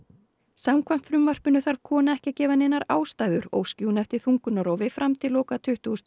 samkvæmt frumvarpinu þarf kona ekki að gefa neinar ástæður óski hún eftir þungunarrofi fram til loka tuttugu